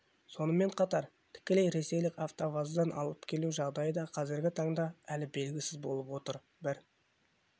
сонымен қатар тікелей ресейлік автоваздан алып келу жағдайы да қазіргі таңда әлі белгісіз болып отыр бір